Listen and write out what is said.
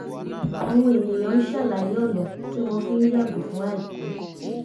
àwọn ènìyàn ń sàlàyé ọ̀nà tí wọ́n fi ń yàgò fún àìtọ́